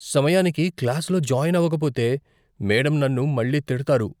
సమయానికి క్లాస్లో జాయిన్ అవకపోతే మేడమ్ నన్ను మళ్లీ తిడతారు.